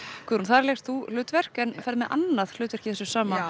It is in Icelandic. Guðrún þar lékst þú hlutverk en ferð með annað hlutverk í þessu sama